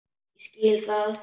Ég skil það!